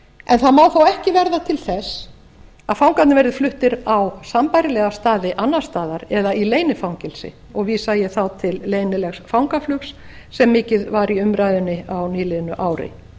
en það má þó ekki verða til þess að fangarnir verði fluttir annað á sambærilega staði annars staðar eða í leynifangelsi og vísa ég þá til leynilegs fangaflugs sem mikið var í umræðunni á nýliðnu ári